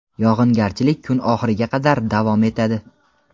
yog‘ingarchilik kun oxiriga qadar davom etadi.